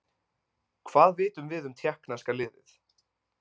Hvað vitum við um Tékkneska liðið?